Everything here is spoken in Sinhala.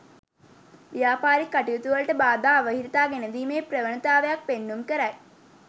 ව්‍යාපාරික කටයුතුවලට බාධා අවහිරතා ගෙනදීමේ ප්‍රවණතාවක් පෙන්නුම් කරයි.